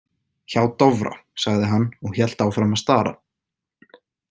Hjá Dofra, sagði hann og hélt áfram að stara.